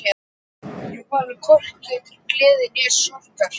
Ég fann hvorki til gleði né sorgar.